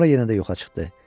Sonra yenə də yoxa çıxdı.